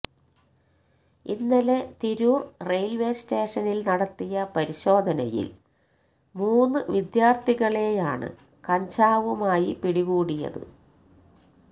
ഇന്നലെ തിരൂർ റെയിൽവേ സ്റ്റേഷനിൽ നടത്തിയ പരിശോധനയിൽ മൂന്ന് വിദ്യാർഥികളെയാണ് കഞ്ചാവുമായി പിടികൂടിയത്